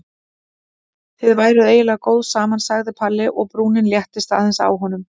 Þið væruð eiginlega góð saman sagði Palli og brúnin léttist aðeins á honum.